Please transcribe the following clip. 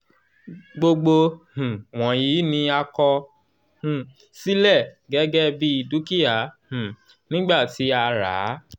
gbogbo um wọ̀nyí ni a kọ um sílẹ̀ gẹ́gẹ́ bí dúkìá um nígbà tí a ràá